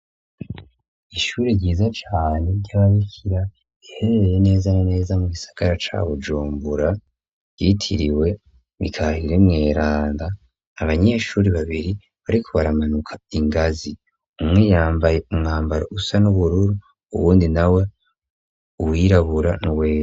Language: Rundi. Ishuri ryiza cane ry'ababikira riherereye neza neza mugisagara ca Bujumbura, ryitiriwe Mikaheri Mweranda, abanyeshuri babiri bariko baramanuka ingazi. Umwe yambaye umwambaro usa n'ubururu, uwundi nawe uwirabura n'uwera.